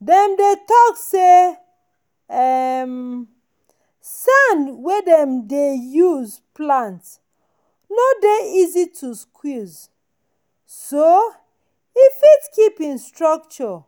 them don talk say um sand wey dem dem dey use plant no dey easy to squeeze so e fit keep him structure